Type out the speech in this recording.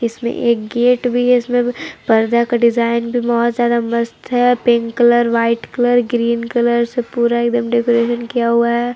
इसमें एक गेट भी है इसमें पर्दा का डिजाइन भी बत ज्यादा मस्त है pink colour white colour green colour से पूरा एकदम डेकोरेट किया हुआ है।